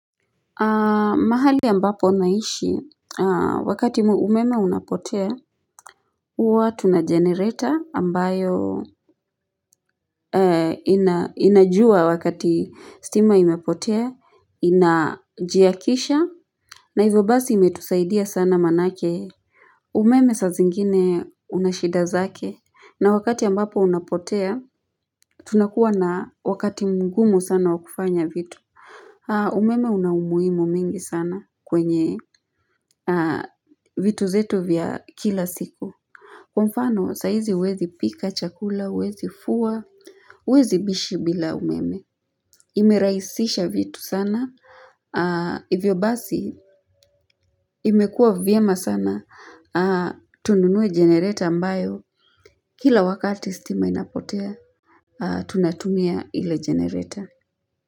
Mahali ambapo naishi wakati umeme unapotea huwa tuna generator ambayo inajua wakati stima imepotea inajiakisha na hivyo basi imetusaidia sana manake umeme saa zingine una shida zake na wakati ambapo unapotea tunakuwa na wakati mgumu sana wa kufanya vitu. Umeme una umuhimu mingi sana kwenye vitu zetu vya kila siku Kwa mfano saa huzi huwezi pika chakula, huwezi fua huwwezi bishi bila umeme. Imeraisisha vitu sana hivyo basi imekuwa vyema sana tununue jenereta ambayo Kila wakati stima inapotea tunatumia ile jenereta.